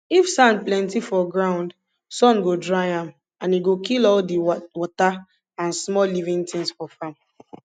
if sand plenti for ground sun go dry am and e go kill all di wata and small living tins for farm